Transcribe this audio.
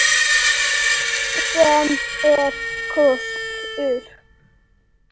Sem er kostur!